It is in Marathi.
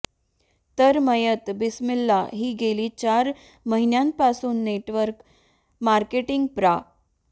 तर मयत बिस्मिल्ला ही गेली चार महिन्यांपासून नेटवर्क मार्केटिंग प्रा